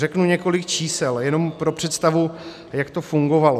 Řeknu několik čísel jenom pro představu, jak to fungovalo.